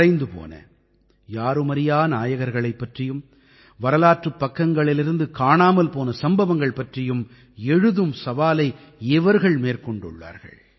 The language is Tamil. மறைந்து போன யாருமறியா நாயகர்களைப் பற்றியும் வரலாற்றுப் பக்கங்களிலிருந்து காணாமல் போன சம்பவங்கள் பற்றியும் எழுதும் சவாலை இவர்கள் மேற்கொண்டுள்ளார்கள்